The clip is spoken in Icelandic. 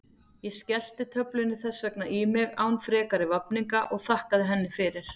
Ég skellti töflunni þess vegna í mig án frekari vafninga og þakkaði henni fyrir.